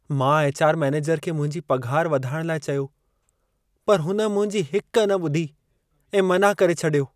मां HR. Manager खे मुंहिंजी पघार वधाइण लाइ चयो, पर हुन मुंहिंजी हिक न ॿुधी ऐं मनाह करे छॾियो।